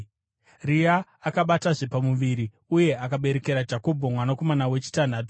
Rea akabatazve pamuviri uye akaberekera Jakobho mwanakomana wechitanhatu.